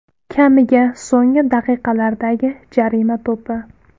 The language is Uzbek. Kamiga so‘nggi daqiqalardagi jarima to‘pi.